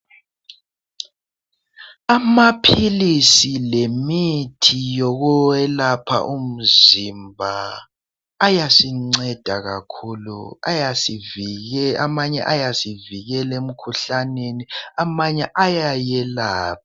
Amaphilisi lemithi yokuyelapha umzimba ayasinceda kakhulu. Amanye ayasivikela emkhuhlaneni, amanye ayayelapha.